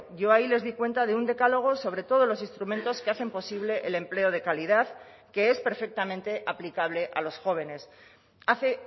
yo ahí les di cuenta de un decálogo sobre todos los instrumentos que hacen posible el empleo de calidad que es perfectamente aplicable a los jóvenes hace